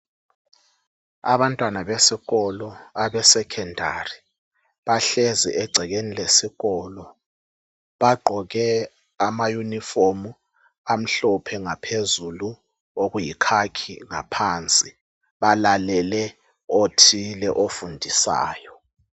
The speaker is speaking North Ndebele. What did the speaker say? Abantwana besikolo abeseSekhendari bahlezi egcekeni lesikolo bagqoke amayunifomu amhlophe ngaphezulu okuyikhakhi ngaphansi balalele othile ofundisayo.